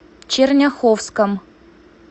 черняховском